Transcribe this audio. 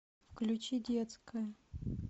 включи детская